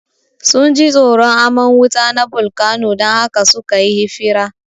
Sunji tsoron aman wuta na bolkano dan haka sukayi hifira